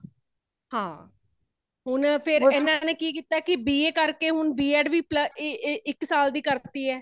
ਹਾਂ ,ਹੋਣ ਫ਼ੇਰ ਏਨਾ ਨੇ ਕੀ ਕੀਤਾ ਹੈ ਕੀ B.A ਕਰ ਕੇ ਹੁਣ B.ED ਵੀ plus ਏ ਏ ਇੱਕ ਸਾਲ ਦੀ ਕਾਰਤੀ ਹੈ